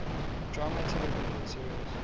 drama television series